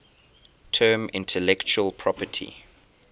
term intellectual property